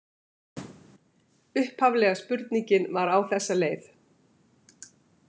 Upphaflega spurningin var á þessa leið